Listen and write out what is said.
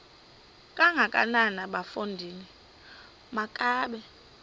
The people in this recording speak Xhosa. kangakanana bafondini makabe